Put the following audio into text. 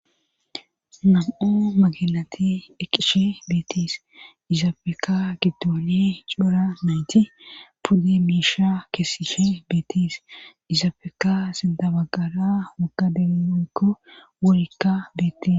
Nam,o maginati eqishe beetis izaafeka giddone cora nayti pudde miisha keesishe beetis izaafeka sindabagara waga deemonikko worikka beette